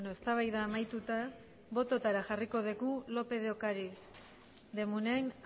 eztabaida amaituta bototara jarriko dugu lópez de ocariz de munain